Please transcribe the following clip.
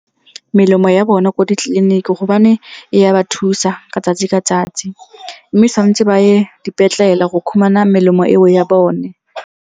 Melemo ya bona ko ditleliniking gobane ya ba thusa ka tsatsi ka tsatsi. Mme santse ba ye dipetlela go khumana melemo eo ya bone.